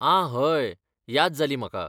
आं हय, याद जाली म्हाका.